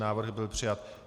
Návrh byl přijat.